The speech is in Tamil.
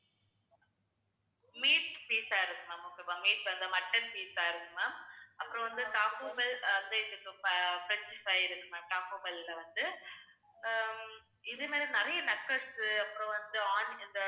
meat pizza இருக்கு ma'am okay வா meat ல வந்து mutton pizza இருக்கு ma'am. அப்புறம் வந்து Taco Bell french fry இருக்கு ma'am Taco Bell ல வந்து. அஹ் இது மேல நிறைய nuggets அப்புறம் வந்து onion